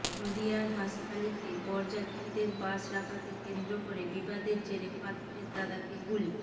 নদিয়ার হাঁসখালিতে বরযাত্রীদের বাস রাখাকে কেন্দ্র করে বিবাদের জেরে পাত্রের দাদাকে গুলি